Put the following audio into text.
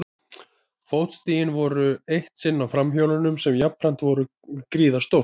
Fótstigin voru eitt sinn á framhjólinu sem jafnframt var gríðarstórt.